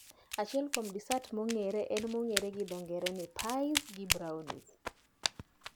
Achiel kuom desat mong'ere en mong'ere gi dho ng'ere ni pies gi brownies